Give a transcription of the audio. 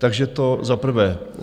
Takže to za prvé.